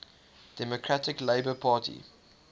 democratic labour party